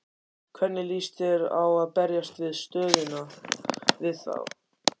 Hvernig lýst þér á að berjast við stöðuna við þá?